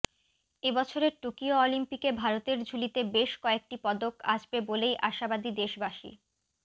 এবছরের টোকিও অলিম্পিকে ভারতের ঝুলিতে বেশ কয়েকটি পদক আসবে বলেই আশাবাদী দেশবাসী